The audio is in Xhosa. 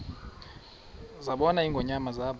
zabona ingonyama zaba